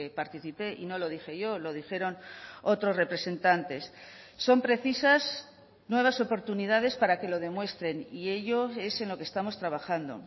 participé y no lo dije yo lo dijeron otros representantes son precisas nuevas oportunidades para que lo demuestren y ello es en lo que estamos trabajando